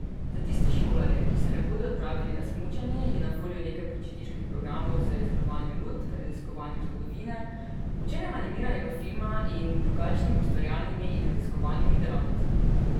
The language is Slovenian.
Za tiste šolarje, ki se ne bodo odpravili na smučanje, je na voljo nekaj počitniških programov z izdelovanjem lutk, raziskovanjem zgodovine, učenjem animiranega filma in drugačnimi ustvarjalnimi in raziskovalnimi delavnicami.